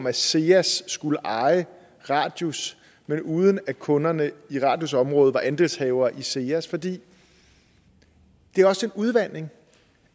at seas skulle eje radius men uden at kunderne i radius område er andelshavere i seas for det er også en udvanding